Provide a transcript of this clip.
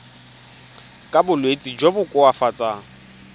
ka bolwetsi jo bo koafatsang